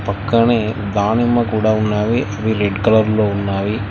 పక్కనే దానిమ్మ కూడా ఉన్నవి అవి రెడ్ కలర్లో ఉన్నవి.